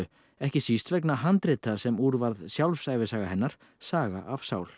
ekki síst vegna handrita sem úr varð sjálfsævisaga hennar Saga af sál